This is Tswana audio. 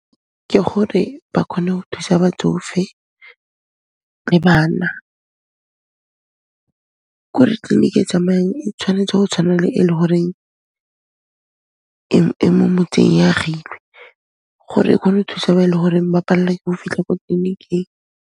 Ke gore ba kgone ho thusa batsofe le bana. K'ore tleliniki e tsamayang, e tshwanetse go tshwana le e le horeng e mo motseng, e agilwe gore e kgone go thusa ba ba e le horeng ba pallwa ke o fitlha ko tleliniking.